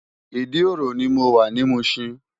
Idi-oro ni mó wá ni Mushin